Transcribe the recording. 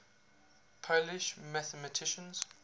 polish mathematicians